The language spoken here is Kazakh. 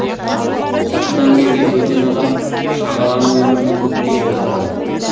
сырттан келген бөтен адам шағаланың өмірін көктей солдырды